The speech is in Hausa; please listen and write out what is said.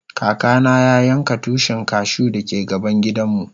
Kaka na ya yanka Tushin cashew da ke gaban gidan mu.